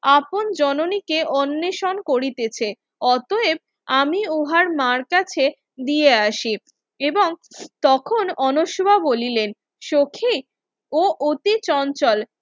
আপন জননীকে অন্নশন করিতেছে অতয়েব আমি উহার মার কাছে দিয়ে আসি এবং তখন অনশমা বলিলেন সখি ও অতি চঞ্চল